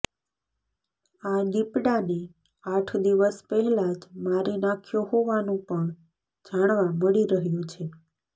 આ દીપડાને આઠ દિવસ પહેલા જ મારી નાખ્યો હોવાનું પણ જાણવા મળી રહ્યું છે